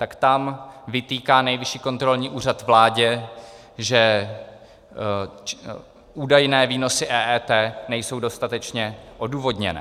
Tak tam vytýká Nejvyšší kontrolní úřad vládě, že údajné výnosy EET nejsou dostatečně odůvodněné.